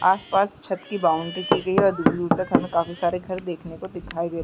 आस-पास छत की बाउंड्री की गई है और दुर-दुर तक हमें काफी सारे घर देखने को दिखाई दे--